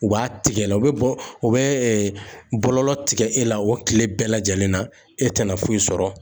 U b'a tigɛ la, u bɛ bɔlɔlɔ u bɛ bɔlɔlɔ tigɛ e la o tile bɛɛ lajɛlen na e tɛna foyi sɔrɔ.